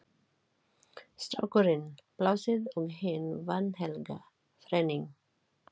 Strákurinn, Plássið og hin vanhelga þrenning